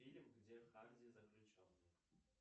фильм где харди заключенный